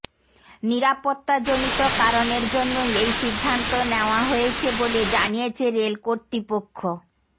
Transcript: নিরাপত্তাজনিত কারণের জন্যই এই সিদ্ধান্ত নেওয়া হয়েছে বলে জানিয়েছে রেল কর্তৃপক্ষ